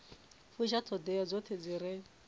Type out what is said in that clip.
fusha ṱhoḓea dzoṱhe dzi re